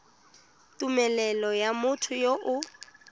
tumelelo ya motho yo o